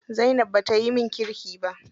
Zainab bata yi min kirki ba.